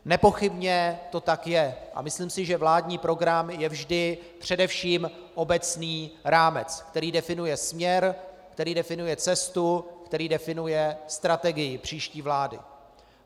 Nepochybně to tak je a myslím si, že vládní program je vždy především obecný rámec, který definuje směr, který definuje cestu, který definuje strategii příští vlády.